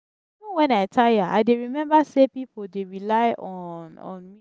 even wen i tire i dey rememba sey pipo dey rely on on me.